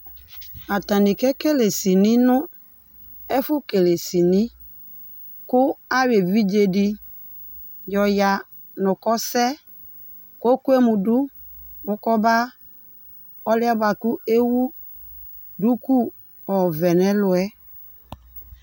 atanɩ kekele sini nʊ efʊ kele sini kʊ ayɔ evidzedɩ yɔ ya nʊ kɔsɛ kɔkɔemudu nʊ kɔba ɔlʊye buakʊ ewu duku ɔvɛ nɛlʊɛ